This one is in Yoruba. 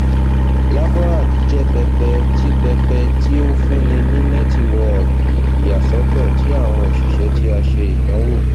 laborhack jẹ pẹpẹ ti pẹpẹ ti o funni ni nẹtiwọọki iyasọtọ ti awọn oṣiṣẹ ti a ṣe idanwo